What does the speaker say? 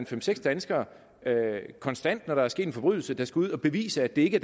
fem seks danskere konstant når der er sket en forbrydelse der skal ud at bevise at det ikke